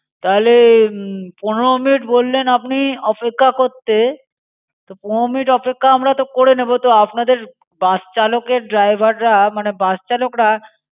তাহলে পনেরো minute বললেন আপনি অপেক্ষা করতে, তো পনেরো minute অপেক্ষা করে নেব। তো আপনাদের bus চালকের driver রা মানে bus চালকরা